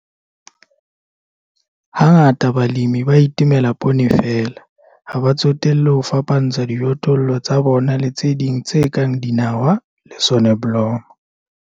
Hangata balemi ba itemela poone feela, ha ba tsotelle ho fapantsha dijothollo tsa bona le tse ding tse kang dinawa le soneblomo.